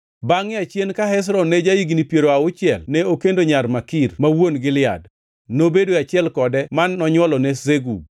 Bangʼe achien, ka Hezron ne ja-higni piero auchiel ne okendo nyar Makir ma wuon Gilead. Nobedo e achiel kode ma nonywolone Segub.